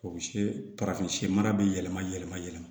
O se mara bɛ yɛlɛma yɛlɛma yɛlɛma